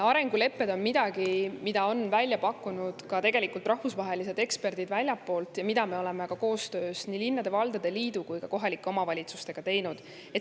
Arengulepped on midagi, mida on välja pakkunud ka rahvusvahelised eksperdid väljastpoolt ja mida me oleme koostöös nii linnade ja valdade liidu kui ka kohalike omavalitsustega teinud.